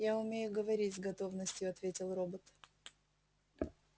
я умею говорить с готовностью ответил робот